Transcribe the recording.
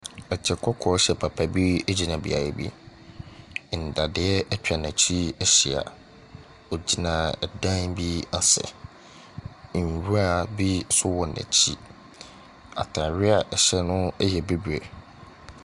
Ɛkyɛ kɔkɔɔ hyɛ papa bi gyina beaeɛ bi. Nnadeɛ atwa n'akyi ahyia. Ɔgyina ɛdan bi ase. Nwura bi nso wɔ n'akyi. Atadeɛ a ɛhyɛ no yɛ bibire.